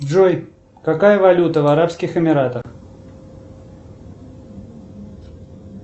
джой какая валюта в арабских эмиратах